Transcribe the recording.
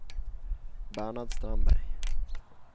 Bernhard Strandberg